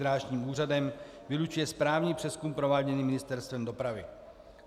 Drážním úřadem vylučuje správní přezkum prováděný Ministerstvem dopravy.